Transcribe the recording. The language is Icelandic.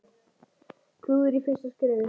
Klúður í fyrsta skrefi.